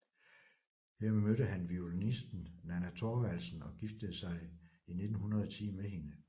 Her mødte han violinisten Nanna Thorvaldsen og giftede sig i 1910 med hende